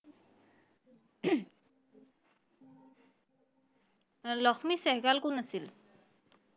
লক্ষ্মী চেহ্গাল কোন আছিল?